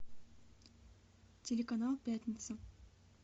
телеканал пятница